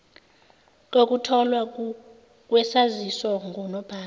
kokutholwa kwesaziso ngunobhala